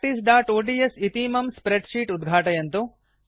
practiceओड्स् इतीमं spreadsheet उद्घाटयन्तु